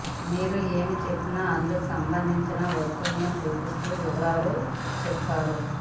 మీరు ఏం చెప్పినా అందుకు సంబంధించిన వస్తువును చూపిస్తూ వివరాలు చెప్పాలి